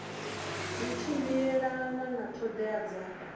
zwi tshimbilelana na ṱhoḓea dza